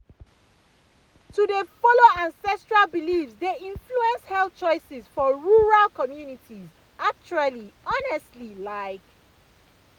to dey follow ancestral beliefs dey influence health choices for rural communities actually honestly like.